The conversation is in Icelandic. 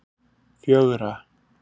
fjögra